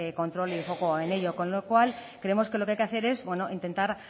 control en ello con lo cual creemos que lo que hay que hacer es intentar